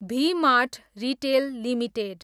V Mart Retail limited